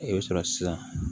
I bɛ sɔrɔ sisan